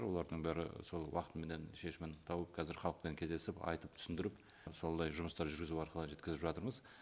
олардың бәрі сол уақытыменен шешімін тауып кәзір халықпен кездесіп айтып түсіндіріп солдай жұмыстар жүргізу арқылы жеткізіп жатырмыз